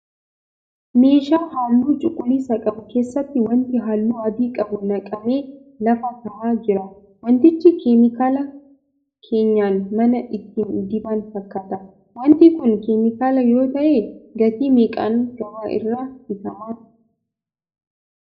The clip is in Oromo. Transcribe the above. Meeshaa halluu cuquliisa qabu keessatti waanti halluu adii qabu naqamee lafa tahaa jira. Waantichi 'keemikaala' keenyan manaa ittiin diban fakkaata. Waanti kun 'keemikaala' yoo tahee gatii meeqaan gabaa irraa bitama?